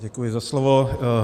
Děkuji za slovo.